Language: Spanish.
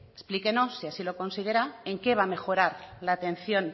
explíquenos se así lo considera en qué va a mejorar la atención